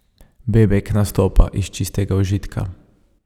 Bebek nastopa iz čistega užitka.